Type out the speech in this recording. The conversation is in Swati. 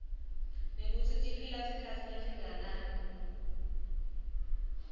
nekutsi tiphila sikhatsi lesinganani